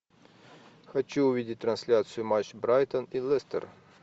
хочу увидеть трансляцию матч брайтон и лестер